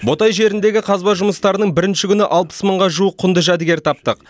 ботай жеріндегі қазба жұмыстарының бірінші күні алпыс мыңға жуық құнды жәдігер таптық